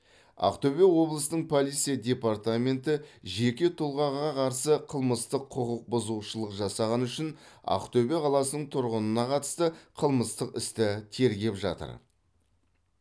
ақтөбе облысының полиция департаменті жеке тұлғаға қарсы қылмыстық құқықбұзушылық жасағаны үшін ақтөбе қаласының тұрғынына қатысты қылмыстық істі тергеп жатыр